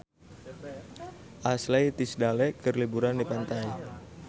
Ashley Tisdale keur liburan di pantai